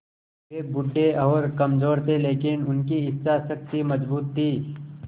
वे बूढ़े और कमज़ोर थे लेकिन उनकी इच्छा शक्ति मज़बूत थी